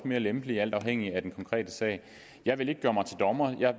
mere lempelige alt afhængigt af den konkrete sag jeg vil ikke gøre mig til dommer